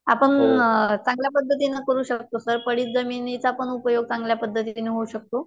आपण चांगल्या पद्धतीने करू शकतो सर, पडीत जमिनीचाही उपयोग चांगल्यापद्धतीने होऊ शकतो